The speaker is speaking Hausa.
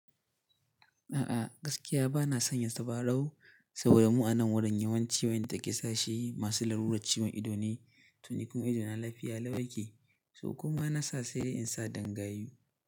A'a gaskiya bana son ya tabarau saboda mu anan wurin yawancin wayanda kisa shi masu laruran ciwon ido ne to ni kuma idona lafiya lau yake so kuma na sa sai dai in sa dan gayu.